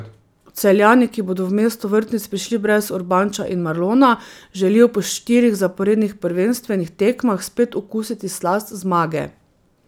Celjani, ki bodo v mesto vrtnic prišli brez Urbanča in Marlona, želijo po štirih zaporednih prvenstvenih tekmah spet okusiti slast zmage.